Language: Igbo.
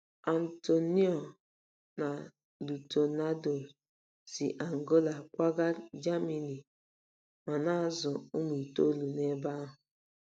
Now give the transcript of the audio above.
Antonio na Lutonadio si Angola kwaga Jamanị ma na-azụ ụmụ itoolu n'ebe ahụ.